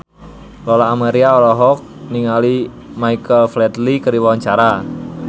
Lola Amaria olohok ningali Michael Flatley keur diwawancara